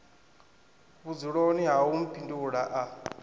vhudzuloni ha u mphindula a